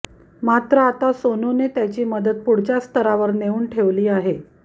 मात्र आता सोनूने त्याची मदत पुढच्या स्तरावर नेऊन ठेवली आहे